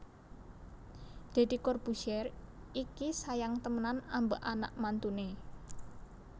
Dedy Corbuzier iki sayang temenan ambek anak mantune